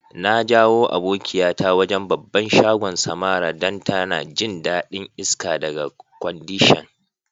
Na jayo abokiya ta wajen' babban shagon Samara dan ta na jin dadin iska daga kwandishan.